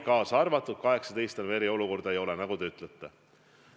18. maist enam eriolukorda ei ole, nagu teiegi ütlesite.